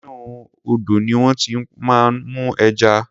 Inú odò ní wón ti máa ń mú ẹja.